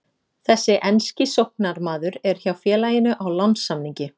Þessi enski sóknarmaður er hjá félaginu á lánssamningi.